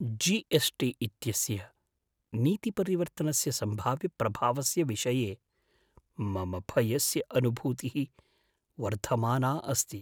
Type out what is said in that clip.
GST. इत्यस्य नीतिपरिवर्तनस्य सम्भाव्यप्रभावस्य विषये मम भयस्य अनुभूतिः वर्धमाना अस्ति।